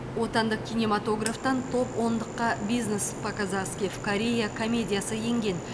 отандық кинематографтан топ ондыққа бизнес по казахски в корее комедиясы енген